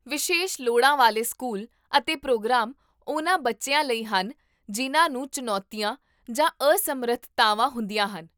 ਵਿਸ਼ੇਸ਼ ਲੋੜਾਂ ਵਾਲੇ ਸਕੂਲ ਅਤੇ ਪ੍ਰੋਗਰਾਮ ਉਹਨਾਂ ਬੱਚਿਆਂ ਲਈ ਹਨ ਜਿਨ੍ਹਾਂ ਨੂੰ ਚੁਣੌਤੀਆਂ ਜਾਂ ਅਸਮਰਥਤਾਵਾਂ ਹੁੰਦੀਆਂ ਹਨ